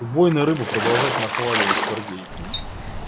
убойная рыба продолжать нахваливать сергей